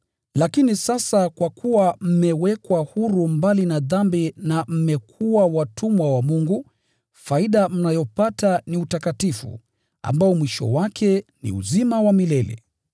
Lakini sasa kwa kuwa mmewekwa huru mbali na dhambi na mmekuwa watumwa wa Mungu, faida mnayopata ni utakatifu, ambao mwisho wake ni uzima wa milele.